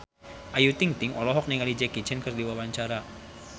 Ayu Ting-ting olohok ningali Jackie Chan keur diwawancara